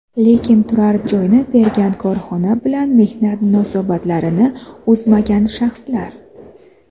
lekin turar joyni bergan korxona bilan mehnat munosabatlarini uzmagan shaxslar;.